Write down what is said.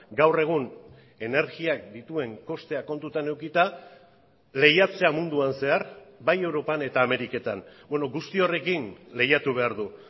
gaur egun energiak dituen kosteak kontutan edukita lehiatzea munduan zehar bai europan eta ameriketan guzti horrekin lehiatu behar du